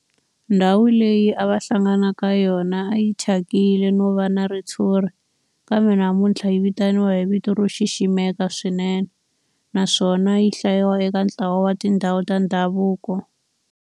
Ndhawu leyi a va hlangana ka yona a yi thyakile no va na ritshuri kambe namuntlha yi vitaniwa hi vito ro xiximeka swinene naswona yi hlayiwa eka ntlawa wa tindhawu ta ndhavuko.